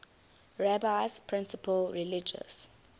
rabbi's principal religious